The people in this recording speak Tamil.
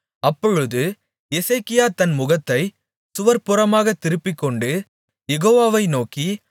அப்பொழுது எசேக்கியா தன் முகத்தைச் சுவர்ப்புறமாகத் திருப்பிக்கொண்டு யெகோவாவை நோக்கி